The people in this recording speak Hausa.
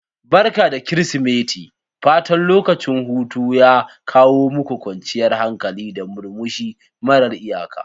Barka da Kirsimeti' fatan lokacin hutu ya kawo muku kwanciyar hankali, da murmushi mara iyaka.